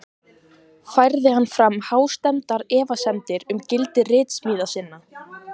Færði hann fram hástemmdar efasemdir um gildi ritsmíða sinna.